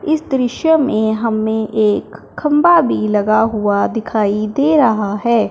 इस दृश्य में हमें एक खंभा भी लगा हुआ दिखाई दे रहा है।